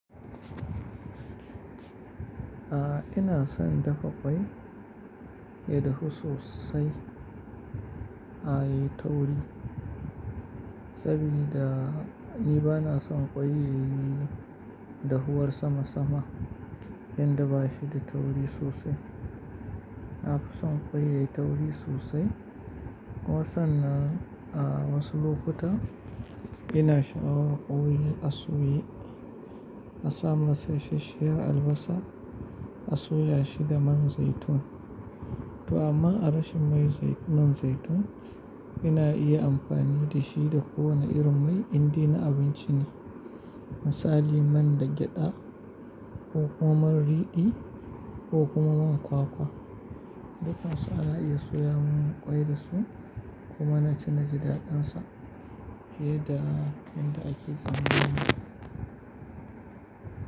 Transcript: Ah ina son dafa ƙwai ya dahu sosai, ah yayi tauri saboda ni ba na son ƙwai yayi dahuwar sama sama inda ba shi da tauri sosai. Na fi son ƙwai yayi tauri sosai. Kuma sannan ah wasu lokuta ina sha'awar ƙwai a soya, a sa masa isasshiyar albasa, a soya shi da man zaitun. To amma a rashin mai man zaitun, ina iya amfani da shi da kowane irin mai indai na abinci ne. Misali man da gyaɗa, ko kuma man riɗi ko kuma man kwakwa dukan su ana iya soya min ƙwai da su kuma na ci naji daɗin sa fiye da inda ake zata ma.